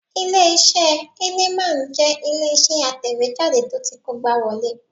Ilé-iṣẹ́ Heineman jẹ́ ilé-iṣẹ́ atẹ̀wéjáde tó ti kógbáwọlé